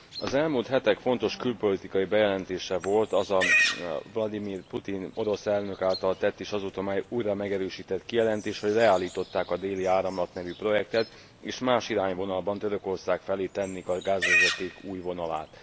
Az elmúlt hetek fontos külpolitikai bejelentése volt az a Vlagyimir Putyin orosz elnök által tett, és azóta újra megerősített kijelentés, hogy leállították a Déli Áramlat nevű projektet, és más irányvonalban, Törökország felé tennék a gázvezeték új vonalát.